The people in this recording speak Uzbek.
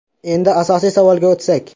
Endi asosiy savolga o‘tsak.